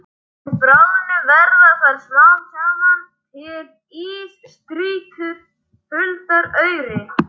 Við bráðnun verða þar smám saman til ísstrýtur huldar auri.